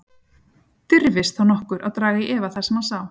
Dirfist þá nokkur að draga í efa það sem hann sá?